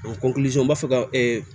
Ɔ n b'a fɛ ka